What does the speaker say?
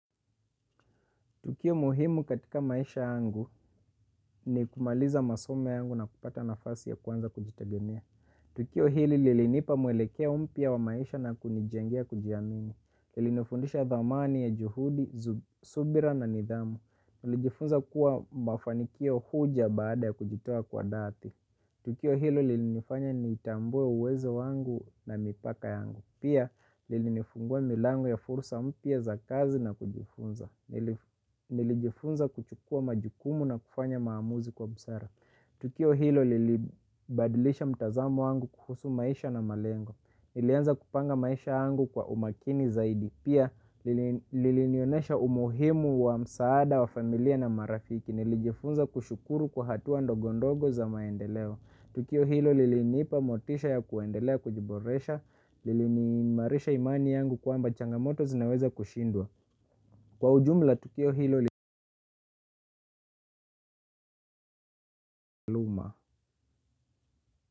Tukio muhimu katika maisha yangu ni kumaliza masomo yangu na kupata nafasi ya kuanza kujitegemea. Tukio hili lilinipa mwelekeo mpya wa maisha na kunijengea kujiamini. Lilinifundisha thamani ya juhudi, subira na nidhamu. Nilijifunza kuwa mafanikio huja baada ya kujitoa kwa dhati. Tukio hili lilinifanya nitambue uwezo wangu na mipaka yangu. Pia lilinifungua milango ya fursa mpya za kazi na kujifunza. Nilijifunza kuchukua majukumu na kufanya maamuzi kwa busara. Tukio hilo lilibadilisha mtazamo wangu kuhusu maisha na malengo. Nilianza kupanga maisha yangu kwa umakini zaidi. Pia lilinionesha umuhimu wa msaada wa familia na marafiki. Nilijifunza kushukuru kwa hatua ndogondogo za maendeleo. Tukio hilo liliniipa motisha ya kuendelea kujiboresha liliniimarisha imani yangu kwamba changamoto zinaweza kushindwa. Kwa ujumla tukio hilo.